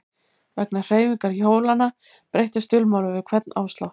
Vegna hreyfingar hjólanna breyttist dulmálið við hvern áslátt.